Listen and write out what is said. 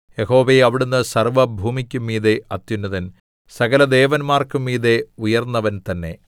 യഹോവേ അവിടുന്ന് സർവ്വഭൂമിക്കും മീതെ അത്യുന്നതൻ സകലദേവന്മാർക്കും മീതെ ഉയർന്നവൻ തന്നെ